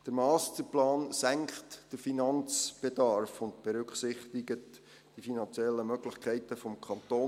Der Masterplan senkt den Finanzbedarf und berücksichtigt die finanziellen Möglichkeiten des Kantons.